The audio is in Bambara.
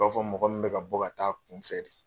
I b'a fɔ mɔgɔ min bɛ ka bɔ ka t'a kun fɛ de.